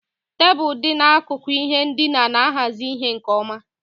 Tebụl dị n'akụkụ ihe ndina na-ahazi ihe nkeonwe.